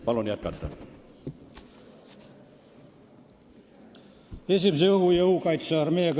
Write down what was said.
Palun jätkata!